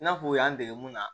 I n'a fɔ u y'an dege mun na